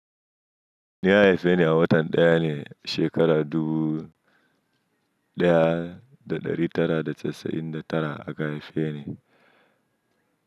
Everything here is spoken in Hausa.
Ni an haife ni a watan daya ne a shekara dubu daya da ɗari tara da casa'in da tara aka haife ni.